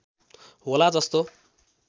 होला जस्तो